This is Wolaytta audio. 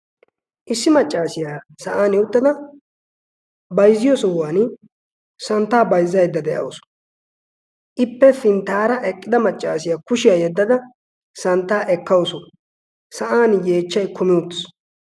issi maccaasiyaa sa7an i uttada baizziyo sohuwan santtaa baizza edda de7ausu. ippe pinttaara eqqida maccaasiyaa kushiyaa yeddada santtaa ekkausu.sa7an yeechchai kumi ootis.